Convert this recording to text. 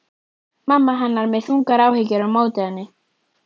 Mamma hennar með þungar áhyggjur á móti henni.